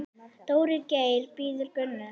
Dóri Geir bíður Gunnu.